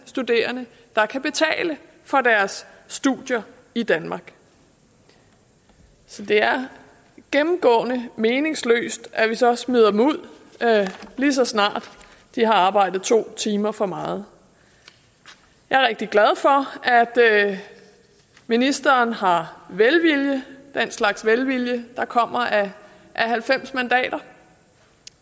studerende der kan betale for deres studier i danmark så det er gennemgående meningsløst at vi så smider dem ud lige så snart de har arbejdet to timer for meget jeg er rigtig glad for at ministeren har velvilje den slags velvilje der kommer af halvfems mandater